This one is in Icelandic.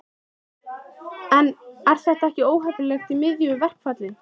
Róbert: En er þetta ekki óheppilegt í miðju verkfalli?